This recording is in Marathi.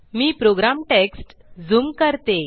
मी प्रोग्राम टेक्स्ट ज़ूम करते